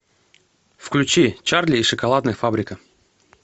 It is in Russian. включи чарли и шоколадная фабрика